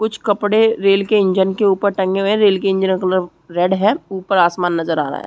--कुछ कपड़े रेल के इंजन के ऊपर टंगे हुए है रेल के इंजन का कलर रेड है। उपर आसमान नजर आ रहा है।